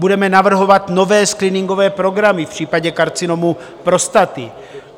Budeme navrhovat nové screeningové programy v případě karcinomu prostaty.